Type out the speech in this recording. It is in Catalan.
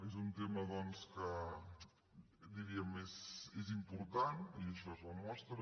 és un tema doncs que diríem és important i això n’és la mostra